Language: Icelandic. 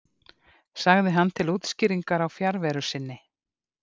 sagði hann til útskýringar á fjarveru sinni.